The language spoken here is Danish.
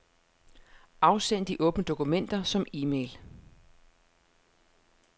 Afsend de åbne dokumenter som e-mail.